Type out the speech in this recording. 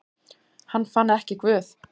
Hann fann ekki Guð.